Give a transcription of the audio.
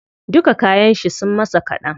Duka kayan shi sun masa kaɗan.